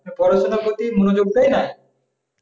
পড়াশোনার প্রতি মনোযোগ দেয় না